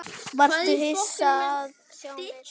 Varstu hissa að sjá mig?